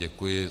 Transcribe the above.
Děkuji.